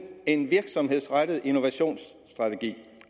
en virksomhedsrettet innovationsstrategi